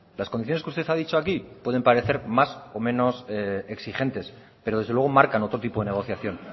las condiciones que usted ha dicho aquí pueden parecer más o menos exigentes pero desde luego marcan otro tipo de negociación